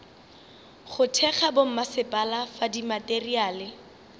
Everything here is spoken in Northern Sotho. go thekga bommasepala fa dimateriale